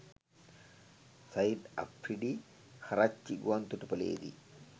Shahid Afridi Karachi ගුවන්තොටුපලේදි